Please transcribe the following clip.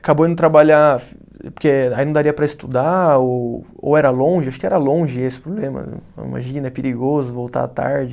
Acabou indo trabalhar, porque aí não daria para estudar, ou ou era longe, acho que era longe esse problema, imagina, é perigoso voltar tarde.